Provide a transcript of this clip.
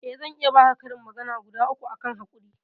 eh zan iya baka karin magana guda uku akan hakuri